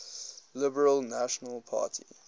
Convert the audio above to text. liberal national party